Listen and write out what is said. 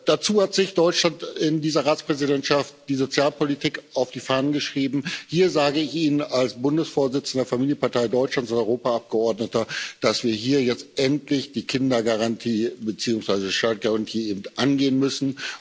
Dazu hat sich Deutschland in dieser Ratspräsidentschaft die Sozialpolitik auf die Fahnen geschrieben. Hier sage ich Ihnen als Bundesvorsitzender der Familienpartei Deutschlands und Europaabgeordneter, dass wir hier jetzt endlich die Kindergarantie angehen müssen.